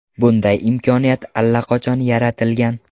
Bunday imkoniyat allaqachon yaratilgan.